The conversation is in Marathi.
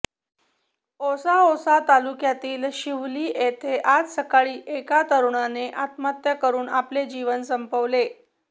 औसा औसा तालुक्यातील शिवली येथे आज सकाळी एका तरुणाने आत्महत्या करून आपले जीवन संपवले